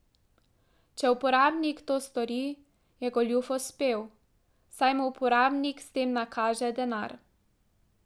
Če uporabnik to stori, je goljuf uspel, saj mu uporabnik s tem nakaže denar.